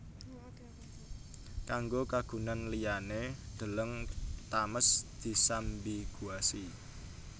Kanggo kagunan liyané deleng Thames disambiguasi